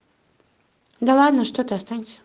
да ладно что ты останься